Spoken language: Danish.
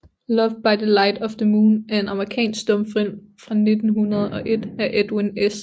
Love by the Light of the Moon er en amerikansk stumfilm fra 1901 af Edwin S